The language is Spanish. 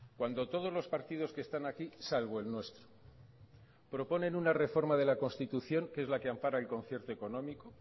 cuando todos los partidos que están aquí salvo el nuestro proponen una reforma de la constitución que es la que ampara el concierto económico